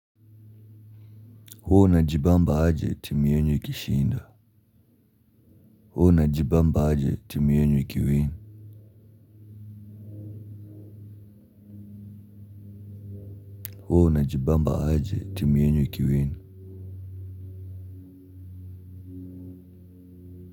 Hua unajibamba aje, timu yenu ikishinda. Hua una jibamba aje, timu yenu ikiwin hua unajibamba aje team yenu ikiwin.